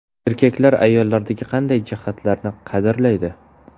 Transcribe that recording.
Erkaklar ayollardagi qanday jihatlarni qadrlaydi?.